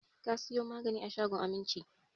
Ka sayo magaji a shagon Aminci!